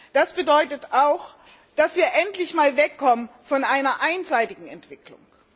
Das bedeutet auch, dass wir endlich einmal wegkommen von einer einseitigen Entwicklung.